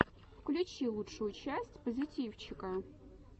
включи лучшую часть позитивчика